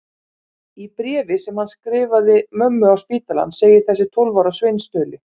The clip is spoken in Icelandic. Í bréfi sem hann skrifaði mömmu á spítalann segir þessi tólf ára sveinstauli